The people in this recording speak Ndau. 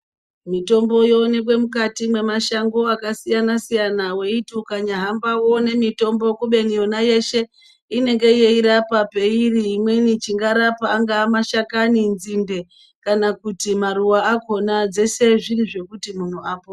Mitombo yoonekwe mukati mwemashango akasiyanasiyana weiti ukanyahamba woone mitombo kubeni yona yeshe inenge yeirapa peiri imweni chingarapa angaa mashakani nzinde kana kuti maruwa akona zvese zviri zvekuti munhu apone.